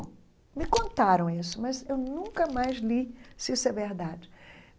Me contaram isso, mas eu nunca mais li se isso é verdade.